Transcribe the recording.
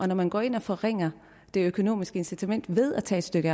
når man går ind og forringer det økonomiske incitament ved at tage et